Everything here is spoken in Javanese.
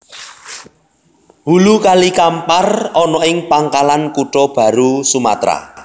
Hulu Kali Kampar ana ing Pangkalan Kutha Baru Sumatra